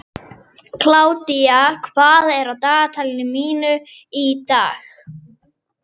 Kládía, hvað er á dagatalinu mínu í dag?